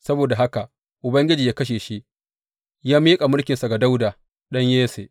Saboda haka Ubangiji ya kashe shi, ya miƙa mulkin ga Dawuda ɗan Yesse.